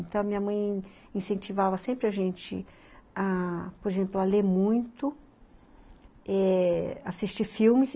Então, a minha mãe incentivava sempre a gente ah por exemplo, a ler muito, é assistir filmes.